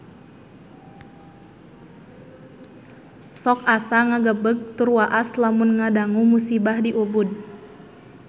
Sok asa ngagebeg tur waas lamun ngadangu musibah di Ubud